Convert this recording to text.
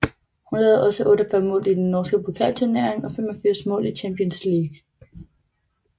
Hun lavede også 48 mål i den norske pokalturnering og 85 mål i Champions League